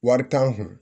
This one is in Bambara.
Wari t'an kun